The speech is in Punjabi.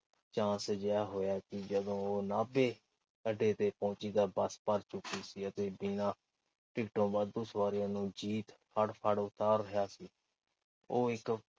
chance ਜਾ ਹੋਇਆ ਕਿ ਜਦੋਂ ਉਹ ਨਾਭੇ ਅੱਡੇ ਤੇ ਪਹੁੰਚੀ ਤਾਂ ਬੱਸ ਭਰ ਚੁੱਕੀ ਸੀ ਤੇ ਬਿਨਾਂ ਟਿਕਟੋਂ ਵਾਧੂ ਸਵਾਰੀਆਂ ਨੂੰ ਜੀਤ ਫੜ-ਫੜ ਉਤਾਰ ਰਿਹਾ ਸੀ। ਉਹ ਇੱਕ